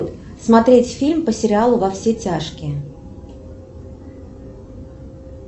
смотреть фильм по сериалу во все тяжкие